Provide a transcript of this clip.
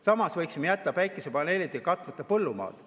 Samas võiksime jätta päikesepaneelidega katmata põllumaad.